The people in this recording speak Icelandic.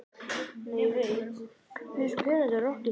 Kemur nema einn til greina?